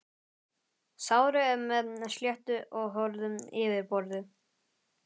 Sárið er með sléttu og hörðu yfirborði.